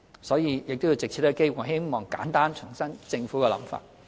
所以，藉此機會，我希望簡單重申政府的想法。